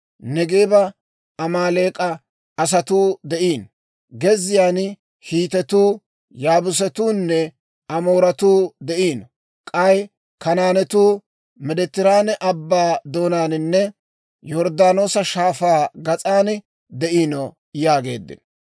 Neegeeba Amaaleek'a asatuu de'iino; gezziyaan Hiitetuu, Yaabuusatuunne Amooratuu de'iino; k'ay Kanaanetuu Meediteraane Abbaa doonaaninne Yorddaanoosa Shaafaa gas'aan de'iino» yaageeddino.